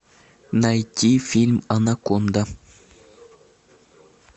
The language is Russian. найти фильм анаконда